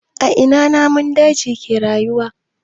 A ina namun daji ke rayuwa?